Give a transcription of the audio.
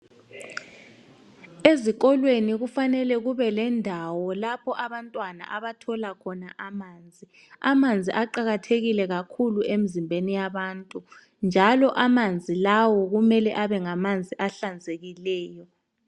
Ezikolweni kufanele kube lendawo lapho abantwana abathola khona amanzi. Amanzi aqakathekile kakhulu emzimbeni yabantu njalo amanzi lawo kumele abe ngamanzi ahlanzekileyo.